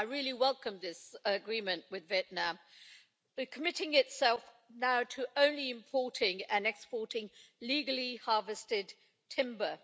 I really welcome this agreement with Vietnam, committing now to only importing and exporting legally harvested timber.